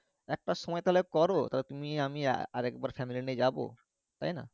একটা সময় তালে করো তালে তুমি আমি আরেকবার family নিয়ে যাব তাই না